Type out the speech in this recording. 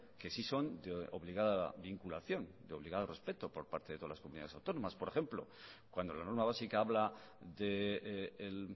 que sí son de obligada vinculación de obligado respeto por parte de todas las comunidades autónomas por ejemplo cuando la norma básica habla del